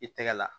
I tɛgɛ la